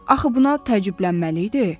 axı buna təəccüblənməli idi.